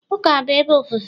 Ụka bụ ebe ofufe